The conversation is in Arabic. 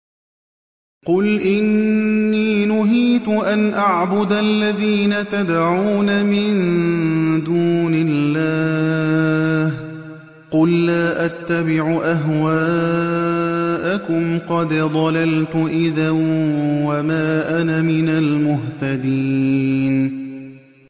قُلْ إِنِّي نُهِيتُ أَنْ أَعْبُدَ الَّذِينَ تَدْعُونَ مِن دُونِ اللَّهِ ۚ قُل لَّا أَتَّبِعُ أَهْوَاءَكُمْ ۙ قَدْ ضَلَلْتُ إِذًا وَمَا أَنَا مِنَ الْمُهْتَدِينَ